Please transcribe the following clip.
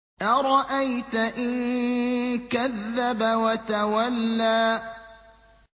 أَرَأَيْتَ إِن كَذَّبَ وَتَوَلَّىٰ